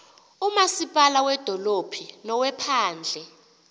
umasipala wedolophu nowephandle